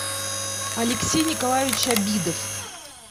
алексей николаевич обидов